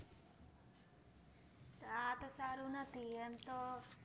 સારું નથી એમતો